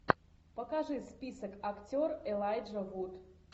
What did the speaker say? покажи список актер элайджа вуд